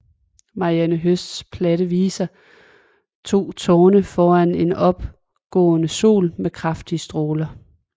Marianne Høsts platte viser to tårne foran en opgående sol med kraftige stråler